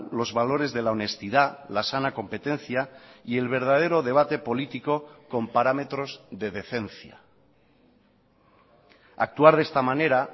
los valores de la honestidad la sana competencia y el verdadero debate político con parámetros de decencia actuar de esta manera